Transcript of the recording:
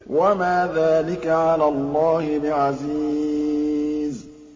وَمَا ذَٰلِكَ عَلَى اللَّهِ بِعَزِيزٍ